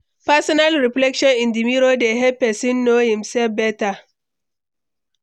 personal reflection in di mirror dey help pesin know imself beta.